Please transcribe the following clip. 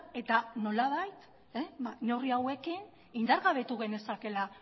eta nolabait neurri hauekin indargabetu genezakeela